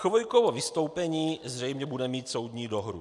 Chvojkovo vystoupení zřejmě bude mít soudní dohru.